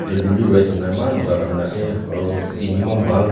building bi red hoina eman moza pa banai na ase aro din bi eman bhal.